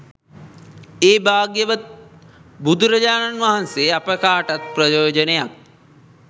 ඒ භාග්‍යවත් බුදුරජාණන් වහන්සේ අප කාටත් ප්‍රයෝජනයක්